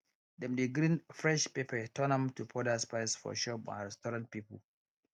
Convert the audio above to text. dem dey grind fresh pepper turn am to powder spice for shop and restaurant people